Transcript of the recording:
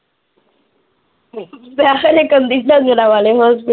ਮੈਂ ਖਰੇ ਕਹਿੰਦੀ ਡੰਗਰਾਂ ਵਾਲੇ ਹੋਸਪਿਟਲ